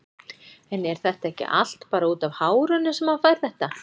En er þetta ekki allt bara útaf hárinu sem hann fær þetta?